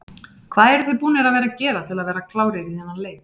Hvað eruð þið búnir að vera að gera til að vera klárir í þennan leik?